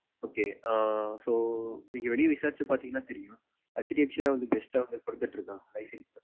Okay ah so நீங்க வெளிய விசாரிச்சு பாத்தீங்கனா தெரியும் hdfc தான் best offer குடுத்துட்டு இருக்காங்க life insurance ல